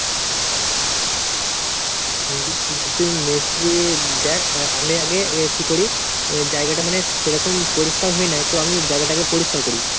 তুই মিস্ত্রী দ্যাখ, আ আমি আগে কি করি জায়গাটা মানে সেরকম পরিষ্কার হয়ে নাই তো আমি জায়গাটা আগে পরিষ্কার করি।